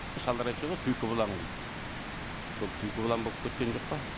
шалдар айтып жүреді ғой түлкі бұлаң дейді сол түлкі бұлаң болып кеткен жоқ па